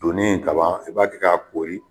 Donnin ka ban i b'a kɛ k'a koori